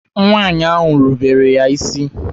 Nwaanyị ahụ rebeere ya isi.